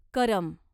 करम